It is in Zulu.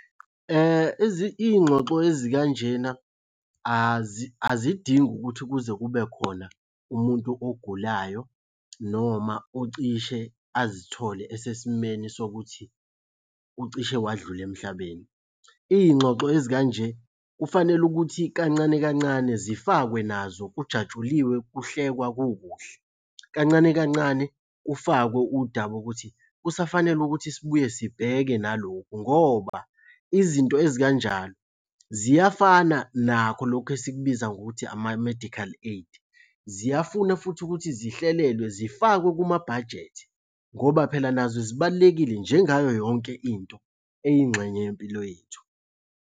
Iy'ngxoxo ezikanjena azidingi ukuthi kuze kube khona umuntu ogulayo noma ocishe azithole esesimeni sokuthi ucishe wadlula emhlabeni. Iy'ngxoxo ezikanje, kufanele ukuthi kancane kancane zifakwe nazo kujatshuliwe kuhlekwa kukuhle. Kancane kancane, kufakwe udaba ukuthi kusafanele ukuthi sibuye sibheke nalokhu ngoba izinto ezikanjalo ziyafana nakho lokhu esikubiza ngokuthi ama-medical aid. Ziyafuna futhi ukuthi zihlelelwe zifakwe kumabhajethi ngoba phela nazo zibalulekile njengayo yonke into eyingxenye yempilo yethu.